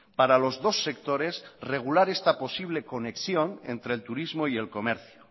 para los dos sectores regular esta posible conexión entre el turismo y el comercio